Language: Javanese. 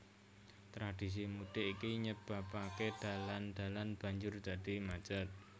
Tradhisi mudik iki nyebabaké dalan dalan banjur dadi macet